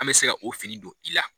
An mɛ se ka o fini don i la.